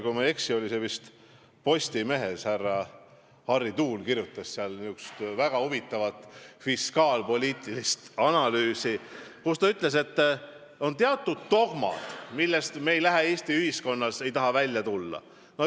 Kui ma ei eksi, siis vist Postimehes härra Harry Tuul esitas väga huvitava fiskaalpoliitilise analüüsi, kus ta ütles, et on teatud dogmad, millest Eesti ühiskond ei taha loobuda.